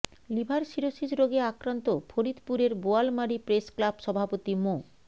liver cirrhosis রোগে আক্রান্ত ফরিদপুরের বোয়ালমারী প্রেসক্লাব সভাপতি মো